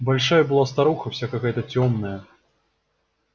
большая была старуха вся какая-то тёмная